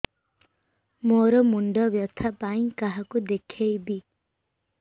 ମୋର ମୁଣ୍ଡ ବ୍ୟଥା ପାଇଁ କାହାକୁ ଦେଖେଇବି